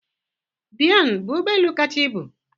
Boeing bụ ụgbọ elu kacha ibu?